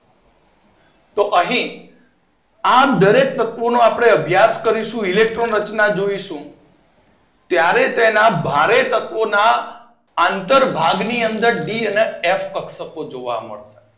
તો અહી આપડે દરેક તત્વો નો આપડે અભ્યાસ કરીશું. ઇલેક્ટ્રોન રચના જોઈશું. ત્યારે તેના ભારે તત્વના આંતર ભાગ ની અંદર ડી અને એફ કક્ષકો જોવા મળશે.